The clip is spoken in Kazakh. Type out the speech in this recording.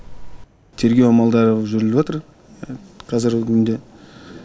тергеу амалдары жүріп жатыр қазіргі күнде